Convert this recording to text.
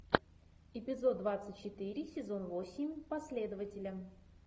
эпизод двадцать четыре сезон восемь последователи